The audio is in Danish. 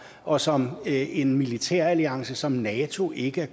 og som en militæralliance som nato ikke er